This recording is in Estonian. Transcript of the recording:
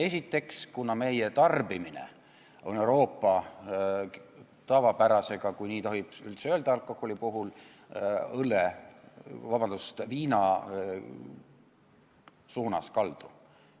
Esiteks see, et meie tarbimine on võrreldes Euroopa tavapärasega, kui nii tohib alkoholi puhul üldse öelda, viina suunas kaldu.